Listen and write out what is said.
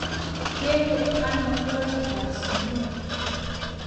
Kende ano ngoroik kap sukul